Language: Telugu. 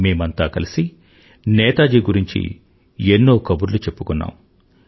మేమంతా కలిసి నేతాజి గురించి ఎన్నో కబుర్లు చెప్పుకున్నాం